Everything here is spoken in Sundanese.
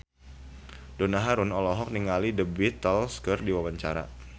Donna Harun olohok ningali The Beatles keur diwawancara